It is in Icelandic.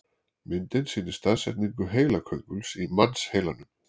Myndin sýnir staðsetningu heilakönguls í mannsheilanum.